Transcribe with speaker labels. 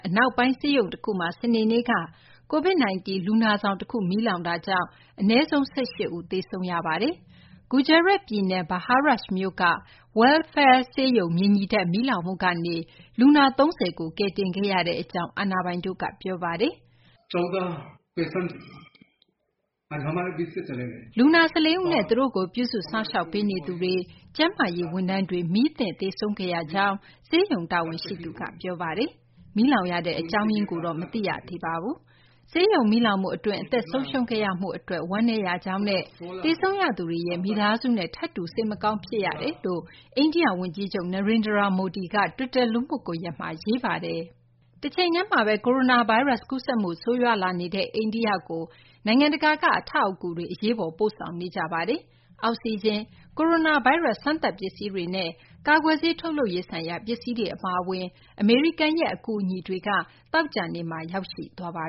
Speaker 1: အနောက်ပိုင်း ဆေးရုံတခုမှာ စနေနေ့က COVID-19 လူနာဆောင်တခု မီးလောင်တာကြောင့် အနည်းဆုံး ၁၈ ဦး သေဆုံးခဲ့ရပါတယ်။ ဂူဂျာရတ်ပြည်နယ် Bharuch မြို့က Welfare ဆေးရုံ မြေညီထပ် မီးလောင်မှုကနေ လူနာ ၃၀ ကို ကယ်တင်ခဲ့ရကြောင်း အာဏာပိုင်တို့က ပြောပါတယ်
Speaker 2: ။
Speaker 1: လူနာ ၁၄ ဦးနဲ့ သူတို့ကို ပြုစုစောင့်ရှောက်ပေးနေသူတွေ၊ ကျန်းမာရေးဝန်ထမ်းတွေ မီးသင့် သေဆုံးခဲ့ရကြောင်း ဆေးရုံ တာဝန်ရှိသူက ပြောပါတယ်။ မီးလောင်ရတဲ့ အကြောင်းရင်းတော့ မသိရသေးကြောင်းလည်း တာဝန်ရှိသူတွေက ပြောပါတယ်။ ဆေးရုံ မီးလောင်မှုအတွင်း အသက်ဆုံးရှုံးခဲ့ရမှုအတွက် ဝမ်းနည်းရကြောင်းနဲ့ သေဆုံးရသူတွေရဲ့ မိသားစုနဲ့ ထပ်တူ စိတ်မကောင်းဖြစ်ရကြောင်း အိန္ဒိိယဝန်ကြီးချုပ် Narendera Modi က တွစ်တာ လူမှုကွန်ရက်မှာ ရေးသားခဲ့ပါတယ်။ တချိန်တည်းမှာပဲ ကိုရိုနာဗိုင်းရပ်စ် ကူးစက်မှု ဆိုးရွားလာနေတဲ့ အိန္ဒိယကို နိုင်ငံတကာက အထောက်အကူတွေ အရေးပေါ် ပို့ဆောင်နေကြပါတယ်။ အောက်ဆီဂျင်၊ ကိုရိုနာဗိုင်းရပ်စ် စမ်းသပ်ပစ္စည်းတွေနဲ့ ကာကွယ်ဆေး ထုတ်လုပ်ရေးဆိုင်ရာ ပစ္စည်းတွေ အပါအဝင် အမေရိကန်ရဲ့ အကူအညီတွေလည်း သောကြာနေ့က ရောက်ရှိပါ